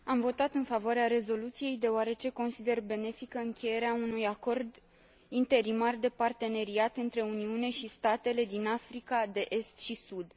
Am votat în favoarea rezoluției, deoarece consider benefică încheierea unui Acord interimar de parteneriat între Uniune și statele din Africa de Est și Sud.